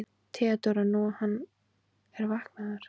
THEODÓRA: Nú, hann er vaknaður.